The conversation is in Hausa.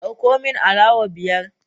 Dauko min alawa biyar